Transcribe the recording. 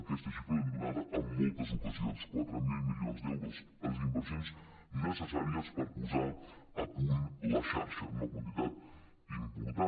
aquesta xifra l’hem donada en moltes ocasions quatre mil milions d’euros les inversions necessàries per posar a punt la xarxa una quantitat important